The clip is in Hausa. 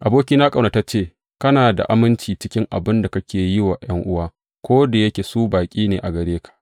Abokina ƙaunatacce, kana da aminci cikin abin da kake yi wa ’yan’uwa, ko da yake su baƙi ne a gare ka.